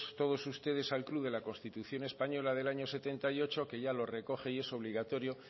todos ustedes al club de la constitución española del año setenta y ocho que ya lo recoge y es obligatorio